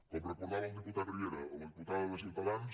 com recordava el diputat riera a la diputada de ciutadans